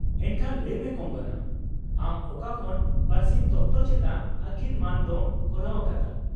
ᱮᱱᱠᱷᱟᱱ ᱞᱟᱹᱭ ᱢᱮ ᱠᱚᱝᱜᱚᱱᱟ, ᱟᱢ ᱚᱠᱟ ᱠᱷᱚᱱ ᱯᱟᱹᱨᱥᱤ ᱛᱚᱛᱛᱚ ᱪᱮᱛᱟᱱ ᱟᱠᱤᱞ ᱢᱟᱹᱱ ᱫᱚᱢ ᱠᱚᱨᱟᱣ ᱟᱠᱟᱫᱟ ?